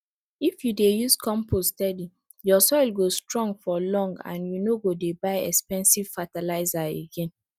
if you dey use compost steady your soil go strong for long and you no go dey buy expensive fertilizer again